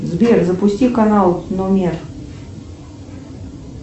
сбер запусти канал номер